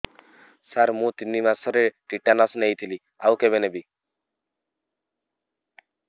ସାର ମୁ ତିନି ମାସରେ ଟିଟାନସ ନେଇଥିଲି ଆଉ କେବେ ନେବି